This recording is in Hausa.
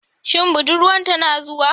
Shin budurwan tana zuwa?